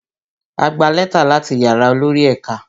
A gba lẹ́tà láti yàrá olórí ẹ̀ka